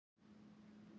Nýta allt